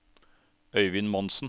Øyvind Monsen